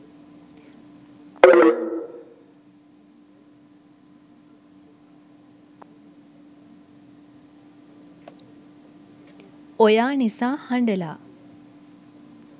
oya nisa handala